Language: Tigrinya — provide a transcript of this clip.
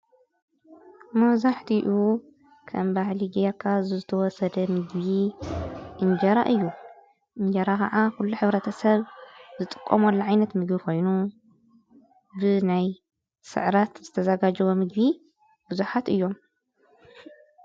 መብዛሕቲኡ ከም ባህሊ ጌርካ ዝተወሰደ ምግቢ እንጀራ እዩ። እንጀራ ኻዓ ኩሉ ሕብረተሰብ ዝጥቀመሉ ዓይነት ምግቢ ኮይኑ ብናይ ስዕረት ዝተዘጋጀወ ምግቢ ብዙሓት እዮም።